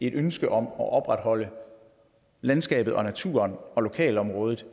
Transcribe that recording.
et ønske om at opretholde landskabet og naturen og lokalområdet